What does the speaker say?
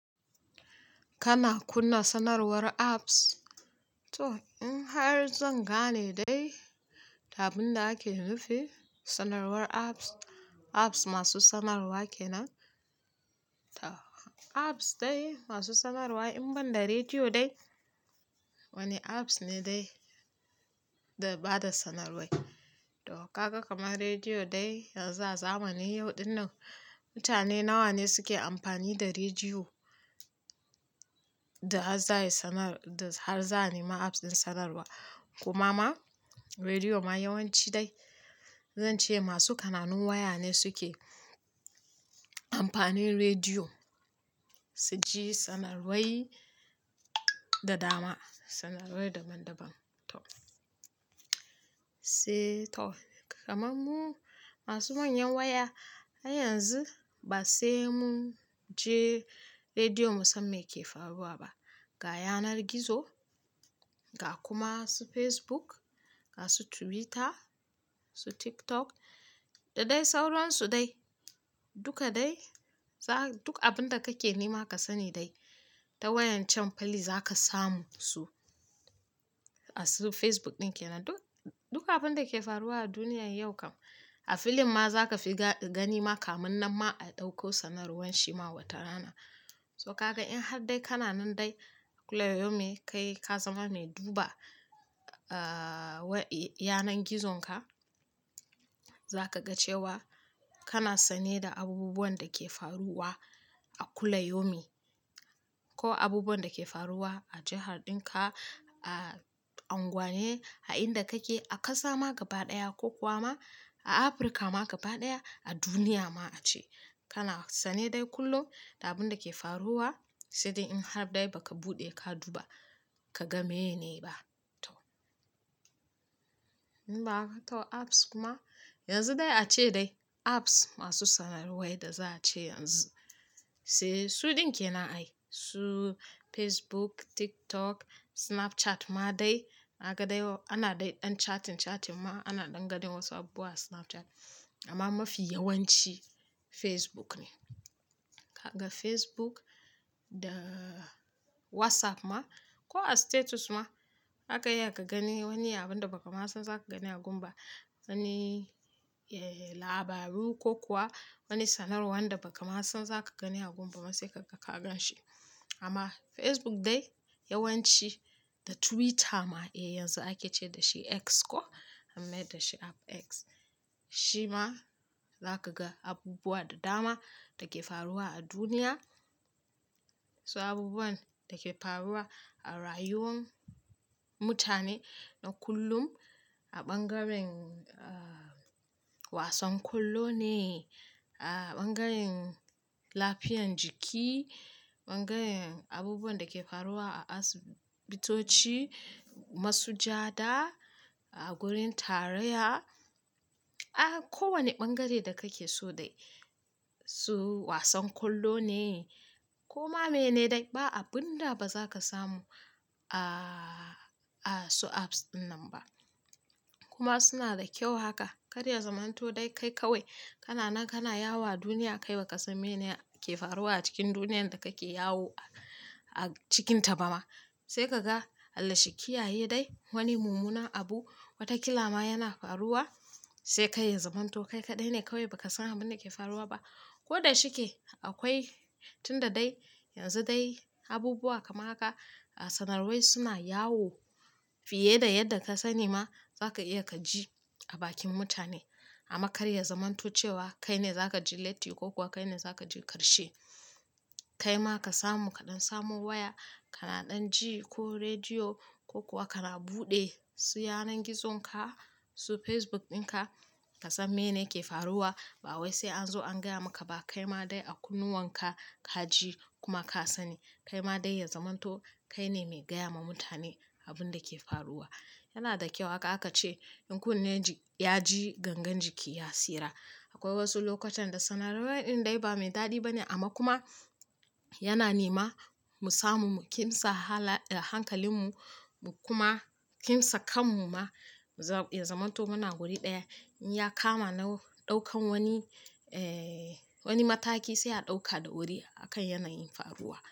Kana kunna sanarwar apps, to in har zan gane dai abun da ake nufi. Sanarwar apps, apps masu sanarwa kenan? Apps dai masu sanarwa in ban da rediyo dai wane apps ne dai da bada sanarwai. To kaga kamar rediyo dai yanzu a zamani yau dinnan mutane nawa ne suke amfani da rediyo da har za su sanar-- da har za nima apps ɗin sanarwa. Kuma ma rediyo ma yawanci dai zan ce masu ƙananun waya ne suke amfanin rediyo su ji sanarwai da dama, sanarwai daban-daban. To sai to kamar mu masu manyan waya har yanzu ba sai mun je rediyo mu san me ke faruwa ba. Ga yanar gizo ga kuma su Facebook, ga su Twitter, su TikTok da dai sauransu dai dukka dai, duk abin da kake nema ka sani dai ta wayan can fali za ka samu su a su Facebook ɗin kenan. Duk abinda ke faruwa a duniya yau kam a filin ma za ka fi gani ma kamun nan ma a ɗauko sanarwar shi ma watarana. So ka ga in har dai kana nan dai kullayaume kai ka zama mai duba, ahhh, yanar gizonka za ka ga cewa kana sane da abubuwan da ke faruwa a kullayaume ko abubuwan da ke faruwa a jahar ɗinka, a unguwane, a inda kake, a ƙasa ma gaba ɗaya ko kuwa ma a Afirka ma gaba ɗaya a duniya ma ace. Kana sane dai kullum da abun da ke faruwa sai dai in har dai ba ka buɗe ka duba ka ga mene ba. To in ba haka, to apps kuma yanzu dai ace dai apps masu sanarwai da za a ce yanzu sai su ɗin ke na ai. Su Facebook, TikTok, Snapchat ma dai naga dai ana dai ɗan chatting, chatting ma ana ɗan gani wasu abubuwa a Snapchat amma mafi yawanci Facebook ne. Kaga Facebook da WhatsApp ma ko a status ma zaka iya ka gani wani abun da ba kama san za ka gani a gun ba. Wani, eh, labaru ko kuwa wani sanarwan da ba kama san za ka gani a gun ba sai kaga ka gan shi. Amma Facebook dai yawanci da Twitter ma eh yanzu ake ce dashi X ko an mai da shi app X. Shi ma za ka ga abubuwa da dama da ke faruwa a duniya. So abubuwan da ke faruwa a rayuwan mutane na kullum, a ɓangaren, ahhh, wasan ƙwallo ne, a ɓangaren lafiyan jiki, ɓangaren abubuwan da ke faruwa a asibitoci, masujada, a gurin tarayya. A kowane ɓangare da kake so dai, su wasan ƙwallo ne ko ma meye ne dai ba abunda ba za ka samu a, a su apps ɗin nan ba. Kuma suna da kyau haka kar ya zamanto dai kai kawai kana nan kana yawo a duniya kai ba ka san mene ke faruwa a cikin duniyar da kake yawo a cikinta ba ma. Sai ka ga Allah shi kiyaye dai wani mummunan abu wata kila ma yana faruwa sai kai ya zamanto kai kaɗai ne kawai ba ka san abin da ke faruwa ba. Ko da shike akwai tun da dai yanzu dai abubuwa kamar haka a sanarwai suna yawo fiye da yadda ka sani ma za ka iya ka ji a bakin mutane. Amma kar ya zamanto cewa kai ne za ka ji lati ko kuwa kai ne za ka ji karshe. Kai ma ka samu ka dan samo waya kana dan ji ko rediyo ko kuwa kana bude su yanar gizon ka su Facebook ɗinka ka san mene ke faruwa. Ba wai sai an zo an gaya maka ba kai ma dai a kunnuwan ka ka ji kuma ka sani. Kai ma dai ya zaman to kai ne mai gaya ma mutane abin da ke faruwa. Yana da kyau haka aka ce in kunne ya ji gangan jiki ya tsira. Akwai wasu lokutan da sanarwaiye ɗin dai ba mai daɗi bane amma kuma yana nema mu samu mu kinsa hankalinmu mu kuma kinsa kanmu ma ya zamanto muna guri ɗaya. In ya kama na ɗaukan wani, ehhh, wani mataki sai a ɗauka da wuri akan yanayin faruwa.